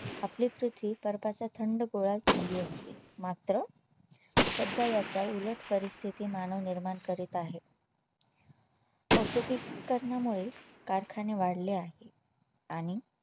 आपली पृथ्वी बर्फाचा थंड गोळा झाली असती मात्र सध्या याच्या उलट परिस्थिती मानव निर्माण करीत आहे औद्योगिक करणामुळे कारखाने वाढले आहे आणि